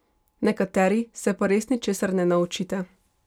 Nekateri se pa res ničesar ne naučite ...